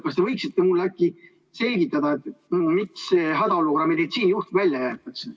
Kas te võiksite mulle selgitada, miks see "hädaolukorra meditsiinijuht" välja jääb?